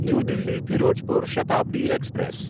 new Delhi Firozpur Shatabdi express